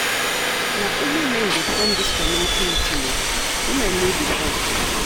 Na only men dey come dis community meeting o, women no dey come.